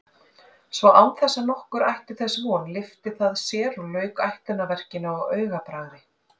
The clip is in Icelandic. Svo án þess nokkur ætti þess von lyfti það sér og lauk ætlunarverkinu á augabragði.